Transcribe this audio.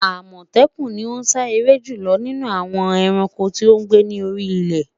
Amọtẹkun ni o sa ere julọ ninu awọn ẹranko ti o gbe ni ori ile